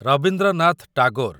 Rabindranath Tagore